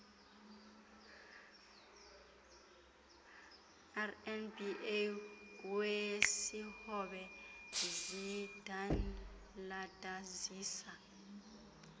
rnba wesihobe zidandalazisa